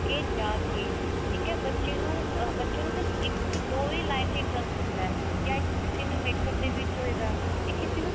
ਕਿ ਜਾ ਕਿ ਬੱਚੇ ਨੂੰ ਬੱਚੇ ਨੂੰ ਸਿਰਫ ਇੱਕ ਦੋ ਹੀ line ਚ interest ਹੁੰਦਾ ਯਾ ਕਿਸੀ ਨੂੰ makeup ਦੇ ਵਿੱਚ ਹੋਏਗਾ ਯਾ ਕਿਸੀ ਨੂੰ